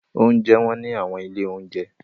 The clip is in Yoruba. Oúnjẹ wọ́n ní àwọn ilé-oúnjẹ.